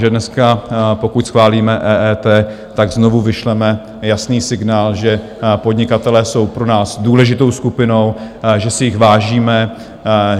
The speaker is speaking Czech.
Že dneska, pokud schválíme EET (?), tak znovu vyšleme jasný signál, že podnikatelé jsou pro nás důležitou skupinou, že si jich vážíme.